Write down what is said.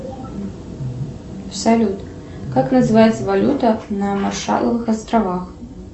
салют как называется валюта на маршаловых островах